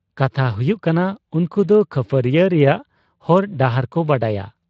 ᱠᱟᱛᱷᱟ ᱦᱩᱭᱩᱜ ᱠᱟᱱᱟ ᱩᱱᱠᱩᱫᱚ ᱠᱟᱹᱯᱷᱟᱹᱣᱨᱤᱭᱟᱜ ᱨᱮᱭᱟᱜ ᱦᱚᱨ ᱰᱟᱦᱟᱨ ᱠᱚ ᱵᱟᱰᱟᱭᱟ ᱾